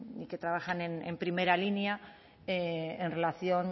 y que trabajan en primera línea en relación